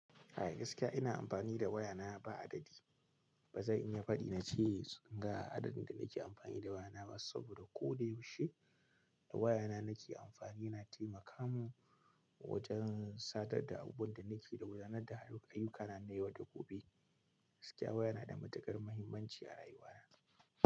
A gaskiya ina amfani da waya na ba adadi. Ba zan iya faɗi na ce ga adadin da nake amfani da waya na ba saboda ko da yaushe da waya na nake amfani yana taimaka mun wajen sadar da abubuwan da nake da gudanar da ayukana na yau da gobe. Gaskiya waya na da matukar muhimmanci a rayuwa na.